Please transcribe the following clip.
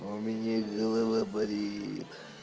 у меня голова болит